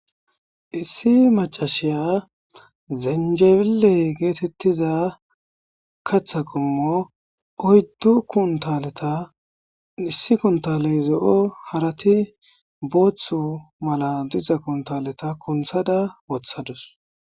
Issi macasiza zinjibile getetiza katha qomot oyddu kunataleta issi kuntaley zo'o harat boothu mala diza kuntaleta kunthada wothadus.